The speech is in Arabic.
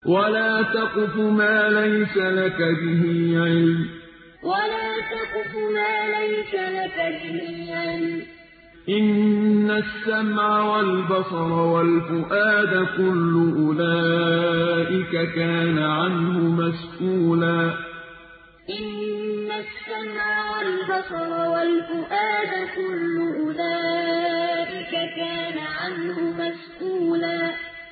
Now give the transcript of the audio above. وَلَا تَقْفُ مَا لَيْسَ لَكَ بِهِ عِلْمٌ ۚ إِنَّ السَّمْعَ وَالْبَصَرَ وَالْفُؤَادَ كُلُّ أُولَٰئِكَ كَانَ عَنْهُ مَسْئُولًا وَلَا تَقْفُ مَا لَيْسَ لَكَ بِهِ عِلْمٌ ۚ إِنَّ السَّمْعَ وَالْبَصَرَ وَالْفُؤَادَ كُلُّ أُولَٰئِكَ كَانَ عَنْهُ مَسْئُولًا